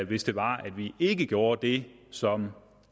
hvis det var at vi ikke gjorde det som